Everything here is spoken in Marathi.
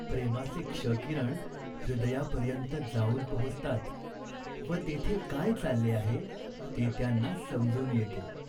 प्रेमाचे क्ष किरण हृदयापर्यंत जाऊन पोहोचतात व तेथे काय चालले आहे ते त्यांना समजून येते.